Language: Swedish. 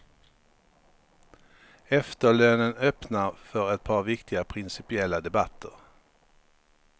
Efterlönen öppnar för ett par viktiga principiella debatter.